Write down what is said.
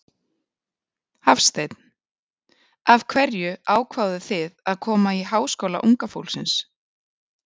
Hafsteinn: Af hverju ákváðuð þið að koma í Háskóla unga fólksins?